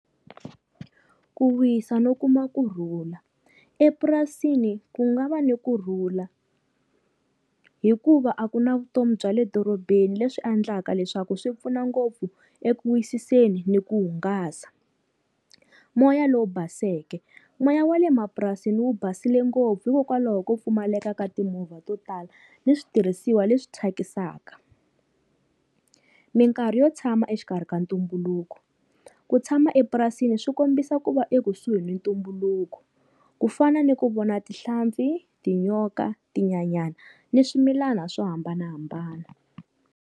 Ku wisa no kuma kurhula, epurasini ku nga va ni kurhula hikuva a ku na vutomi bya le dorobeni leswi endlaka leswaku swi pfuna ngopfu eku wisiseni ni ku hungasa. Moya lowu baseke, moya wa le mapurasini wu basile ngopfu hikokwalaho ko pfumaleka ka timovha to tala, ni switirhisiwa leswi thyakisaka. Minkarhi yo tshama exikarhi ka ntumbuluko, ku tshama epurasini swi kombisa ku va ekusuhi ni ntumbuluko ku fana ni ku vona tinhlampfi, tinyoka, tinyanyani ni swimilana swo hambanahambana.